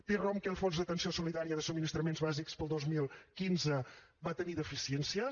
té raó que el fons d’atenció solidària de subministraments bàsics per al dos mil quinze va tenir deficiències